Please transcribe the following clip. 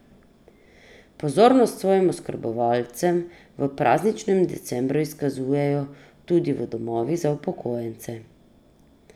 Pozornost svojim oskrbovancem v prazničnem decembru izkazujejo tudi v domovih za upokojence.